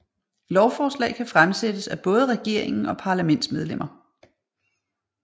Lovforslag kan fremsættes af både regeringen og parlamentsmedlemmer